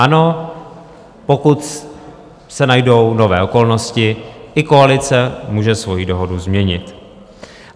Ano, pokud se najdou nové okolnosti, i koalice může svoji dohodu změnit.